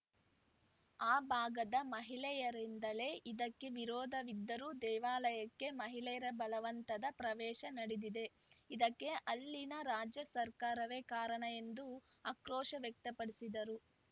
ಆ ಭಾಗದ ಮಹಿಳೆಯರಿಂದಲೇ ಇದಕ್ಕೆ ವಿರೋಧವಿದ್ದರೂ ದೇವಾಲಯಕ್ಕೆ ಮಹಿಳೆಯರ ಬಲವಂತದ ಪ್ರವೇಶ ನಡೆದಿದೆ ಇದಕ್ಕೆ ಅಲ್ಲಿನ ರಾಜ್ಯ ಸರ್ಕಾರವೇ ಕಾರಣ ಎಂದು ಆಕ್ರೋಶ ವ್ಯಕ್ತಪಡಿಸಿದರು